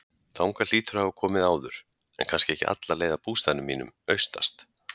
Þangað hlýturðu að hafa komið áður, en kannski ekki alla leið að bústaðnum mínum, austast.